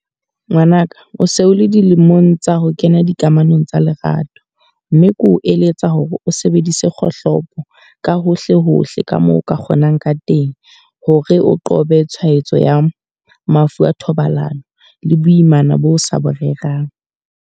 Ngwana ka, o se o le dilemong tsa ho kena dikamanong tsa lerato. Mme ke o eletsa hore o sebedise kgohlopo ka hohle hohle ka moo o ka kgonang ka teng. Hore o qobe tshwaetso ya mafu a thobalano le boimana bo sa bo rerang.